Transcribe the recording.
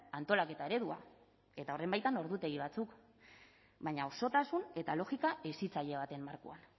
antolaketa eredua eta horren baitan ordutegi batzuk baina osotasun eta logika hezitzaile baten markoan